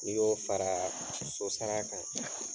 N'i y'o fara so sara kan.